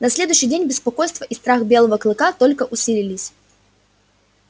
на следующий день беспокойство и страх белого клыка только усилились